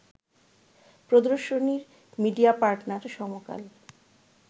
প্রদর্শনীর media partner সমকাল